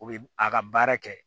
U bɛ a ka baara kɛ